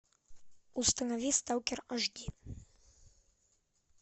установи сталкер аш ди